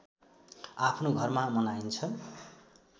आफ्नो घरमा मनाइन्छ